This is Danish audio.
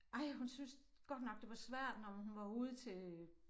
Ej hun syntes godt nok det var svært når hun var ude til